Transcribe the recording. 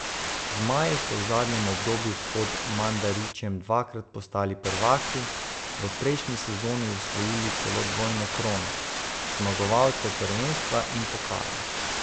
Zmaji so v zadnjem obdobju pod Mandarićem dvakrat postali prvaki, v prejšnji sezoni osvojili celo dvojno krono, zmagovalcev prvenstva in pokala.